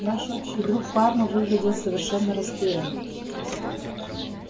наш общий друг парма выглядел совершенно растерянным